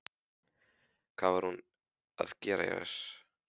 Hvað var hún að gera hér?